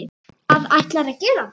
Hvað ætlarðu að gera?